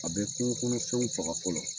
A bɛ kungokɔnɔfɛnw faga fɔlɔ